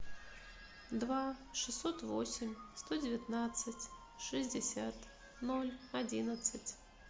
два шестьсот восемь сто девятнадцать шестьдесят ноль одиннадцать